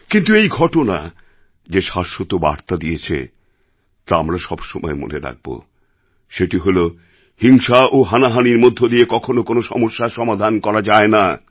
কিন্তু এই ঘটনা যে শাশ্বত বার্তা দিয়েছে তা আমরা সবসময় মনে রাখব সেটি হল হিংসা ও হানাহানির মধ্যে দিয়ে কখনও কোনও সমস্যার সমাধান করা যায় না